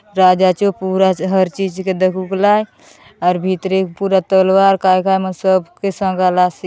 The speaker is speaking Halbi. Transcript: राजा चो पूरा हर चीज के दखुक लाय और भीतरे पूरा तलवार काय काय मन सब के संगालासे ।